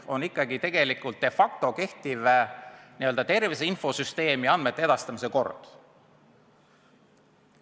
Pean silmas tegelikult, de facto kehtivat tervise infosüsteemi ja andmete edastamise korda.